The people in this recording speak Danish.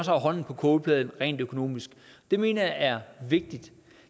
har hånden på kogepladen rent økonomisk det mener jeg er vigtigt